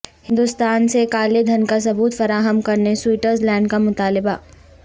ہندوستان سے کالے دھن کا ثبوت فراہم کرنے سوئٹزر لینڈ کا مطالبہ